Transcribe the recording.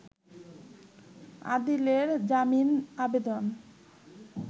আদিলের জামিন আবেদন